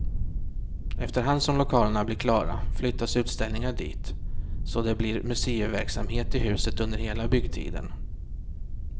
Efterhand som lokalerna blir klara flyttas utställningar dit, så det blir museiverksamhet i huset under hela byggtiden.